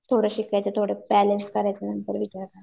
थोडं शिकायचं थोडं करायचं नंतर विचार करायचं.